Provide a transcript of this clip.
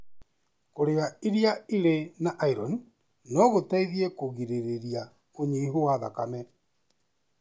Kũrĩa iri irĩ na ironi no gũteithie kũgirĩrĩria ũnyihu wa thakame.